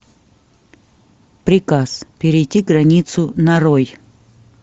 приказ перейти границу нарой